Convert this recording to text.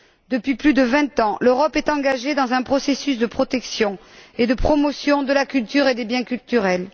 Depuis plus de vingt ans, l'Europe est engagée dans un processus de protection et de promotion de la culture et des biens culturels.